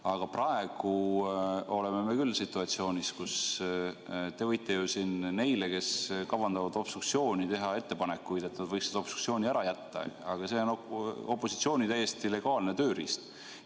Aga praegu me oleme küll situatsioonis, kus te võite siin neile, kes kavandavad obstruktsiooni, teha ettepanekuid, et nad võiksid obstruktsiooni ära jätta, aga see on opositsiooni täiesti legaalne tööriist.